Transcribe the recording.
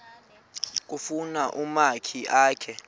kufuna umakhi akhe